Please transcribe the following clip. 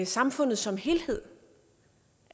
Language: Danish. samfundet som helhed